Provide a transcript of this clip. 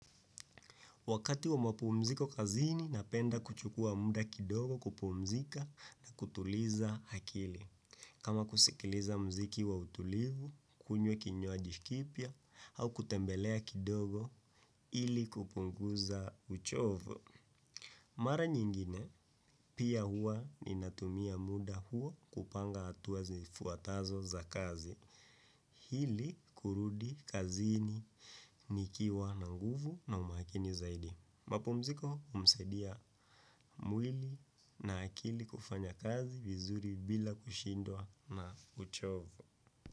Wakati wa mapu mziko kazini napenda kuchukua muda kidogo kupu mzika na kutuliza hakili. Kama kusikiliza mziki wa utulivu, kunywa kinywaji kipya au kutembelea kidogo ili kupunguza uchovu. Mara nyingine pia huwa ninatumia muda huo kupanga hatua zifuatazo za kazi ili kurudi kazini nikiwa na nguvu na umakini zaidi. Mapumziko humsaidia mwili na akili kufanya kazi vizuri bila kushindwa na uchovu.